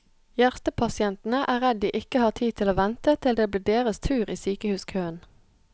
Hjertepasientene er redd de ikke har tid til å vente til det blir deres tur i sykehuskøen.